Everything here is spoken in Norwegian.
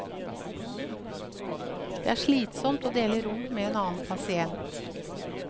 Det er slitsomt å dele rom med en annen pasient.